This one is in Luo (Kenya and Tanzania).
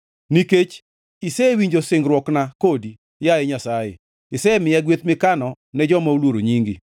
Nikech isewinjo singruokna kodi, yaye Nyasaye; isemiya gweth mikano ne joma oluoro nyingi.